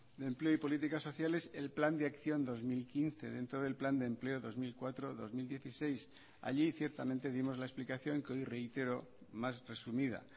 de empleo y políticas sociales el plan de acción dos mil quince dentro del plan de empleo dos mil cuatro dos mil dieciséis allí ciertamente dimos la explicación que hoy reitero mas resumida